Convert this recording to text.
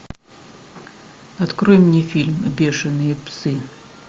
открой мне фильм бешеные псы